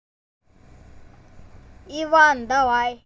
иван давай